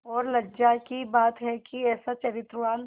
और लज्जा की बात है कि ऐसा चरित्रवान